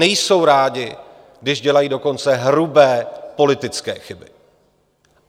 Nejsou rádi, když dělají dokonce hrubé politické chyby.